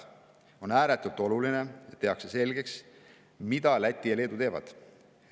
On ääretult oluline, et tehakse selgeks, mida Läti ja Leedu teevad.